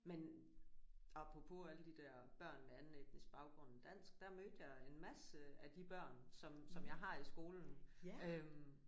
Men apropos alle de der børn med anden etnisk baggrund end dansk der mødte jeg en masse af de børn som som jeg har i skolen øh